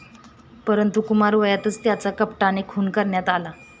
परंतु कुमारवयातच त्याचा कपटाने खून करण्यात आला.